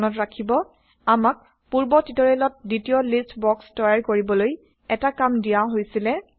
মনত ৰাখিব আমাক পুৰ্ব টিউটৰিয়েলত দ্বিতীয় লিষ্ট বক্স তৈয়াৰ কৰিবলৈ এটা কাম দিয়া হৈছিলে